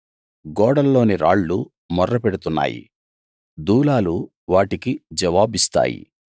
గోడల్లోని రాళ్లు మొర్ర పెడుతున్నాయి దూలాలు వాటికి జవాబిస్తాయి